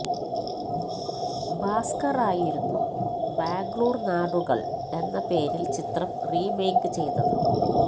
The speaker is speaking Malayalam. ഭാസ്കറായിരുന്നു ബാംഗ്ലൂര് നാട്കള് എന്ന പേരില് ചിത്രം റീമേക്ക് ചെയ്തത്